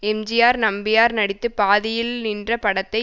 எம்ஜிஆர் நம்பியார் நடித்து பாதியில் நின்ற படத்தை